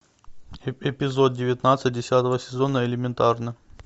эпизод девятнадцать десятого сезона элементарно